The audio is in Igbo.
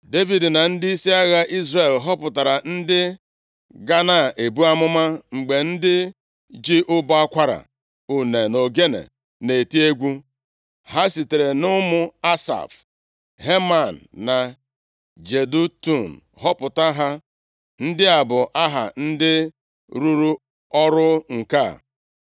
Devid na ndịisi agha ndị Izrel họpụtara ndị ga na-ebu amụma mgbe ndị ji ụbọ akwara, une na ogene na-eti egwu. Ha sitere nʼụmụ Asaf, Heman na Jedutun, họpụta ha. Ndị a bụ aha ndị rụrụ ọrụ nke a: